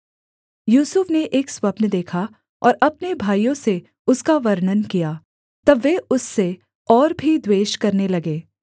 यूसुफ ने एक स्वप्न देखा और अपने भाइयों से उसका वर्णन किया तब वे उससे और भी द्वेष करने लगे